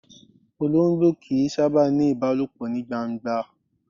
Ológbò kìí sábà ni ìbálòpọ̀ ní gbangba.